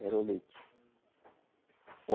Era o leite.